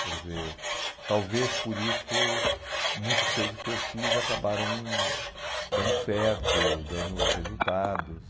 Quer dizer, talvez por isso muitas coisas que eu fiz acabaram dando certo, dando resultados.